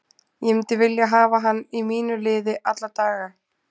Ég myndi vilja hafa hann í mínu liði alla daga.